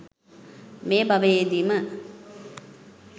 මේ භවයේදීම